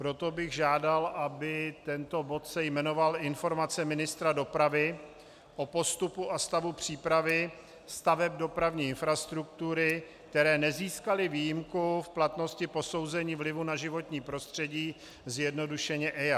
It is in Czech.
Proto bych žádal, aby se tento bod jmenoval Informace ministra dopravy o postupu a stavu přípravy staveb dopravní infrastruktury, které nezískaly výjimku v platnosti posouzení vlivu na životní prostředí, zjednodušeně EIA.